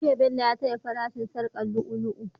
Jiya Bello ya taya fara shin sharkar lu'u lu'u